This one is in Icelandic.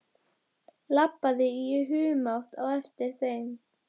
Labbaði í humátt á eftir þeim.